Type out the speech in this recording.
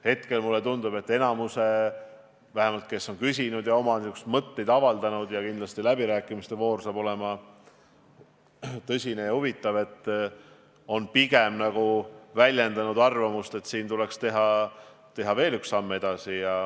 Hetkel tundub mulle, et enamik – vähemalt need, kes on küsinud ja oma mõtteid avaldanud, läbirääkimiste voor saab kindlasti olema tõsine ja huvitav – on pigem väljendanud arvamust, et tuleks teha veel üks samm edasi.